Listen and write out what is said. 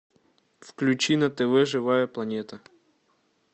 включи на тв живая планета